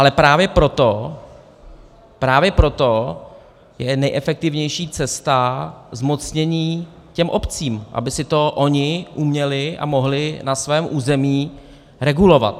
Ale právě proto, právě proto je nejefektivnější cesta zmocnění těm obcím, aby si to ony uměly a mohly na svém území regulovat.